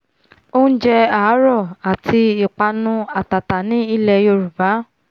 oúnjẹ àárọ̀ àti ìpanu àtàtà ní ilẹ yorùbá